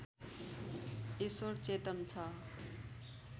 ईश्वर चेतन छ